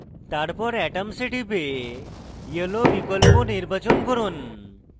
তারপর atoms এ টিপে yellow বিকল্প নির্বাচন করুন